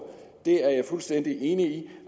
det er jeg fuldstændig enig